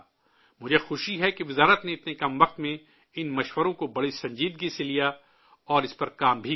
مجھے خوشی ہے کہ وزارت نے اتنے کم وقت میں ان مشوروں کو بڑی سنجیدگی سے لیا، اور اس پر کام بھی کیا